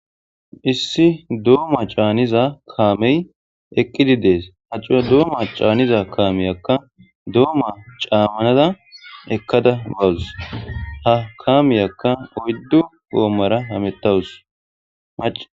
Issi dooma caaniza kaamey eqqidi dees ha cura doomma caaniza kaamiyakka dooma caammanada ekkada gawus ha kaamiyakka oyddu goommara hamettawus mac.